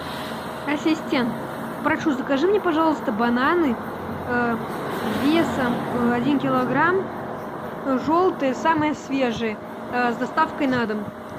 ассистент прошу закажи мне пожалуйста бананы весом один килограмм желтые самые свежие с доставкой на дом